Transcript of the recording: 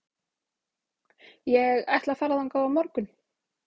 Ég ætla að fara þangað á morgun.